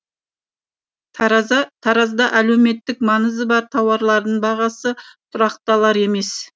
таразда әлеуметтік маңызы бар тауарлардың бағасы тұрақталар емес